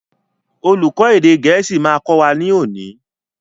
Olùkó èdè gẹ̀ẹ́sì ma kọ́ wa ní òní.